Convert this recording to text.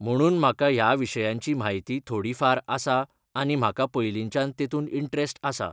म्हणून म्हाका ह्या विशयांची म्हायती थोडी फार आसा आनी म्हाका पयलींच्यान तेतून इंट्रेस्ट आसा.